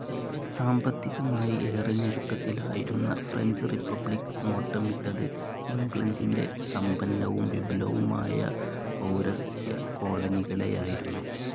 സാമ്പത്തികമായി ഏറെ ഞെരുക്കത്തിലായിരുന്ന ഫ്രഞ്ച്‌ റിപ്പബ്ലിക്‌ നോട്ടമിട്ടത് ഇംഗ്ലണ്ടിൻ്റെ സമ്പന്നവും വിപുലവുമായ പൗരസ്ത്യ കോളനികളെയായിരുന്നു.